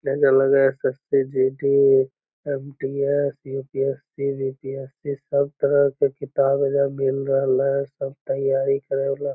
SSC. GD. MDS. UPSC. BPSC. सब तरह के किताब एजा मिल रह ले सब तैयारी कर रहला |